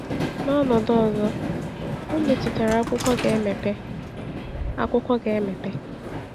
“N’ọnọdụ ọzọ, ọ metụtara ‘akwụkwọ’ ga-emepe.” ‘akwụkwọ’ ga-emepe.”